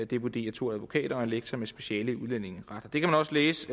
det vurderer to advokater og en lektor med speciale i udlændinge det kan man også læse